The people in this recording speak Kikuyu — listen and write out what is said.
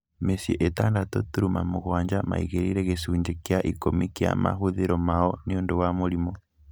Mĩciĩ ĩtandatũ turuma mũgwanja maigĩrĩire gĩcunjĩ kĩa ikũmi kĩa mahũthĩro mao nĩũndũ wa mũrimũ